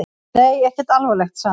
Nei, ekkert alvarlegt, sagði hann.